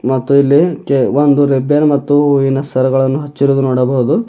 ಮತ್ತು ಇಲ್ಲಿ ಕೆ ಒಂದು ರಿಬ್ಬನ್ ಮತ್ತು ಹೂವಿನ ಸರಗಳನ್ನು ಹಚ್ಚಿರುವುದು ನೋಡಬಹುದು.